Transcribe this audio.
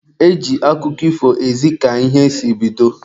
E ji akụkọ ifo ezi ka ihe si bido.